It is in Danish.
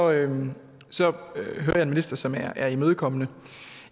jeg en minister som er imødekommende